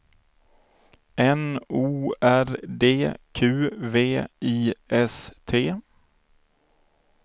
N O R D Q V I S T